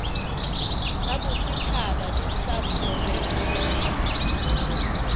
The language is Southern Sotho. tsabosetjhaba le ysa profense di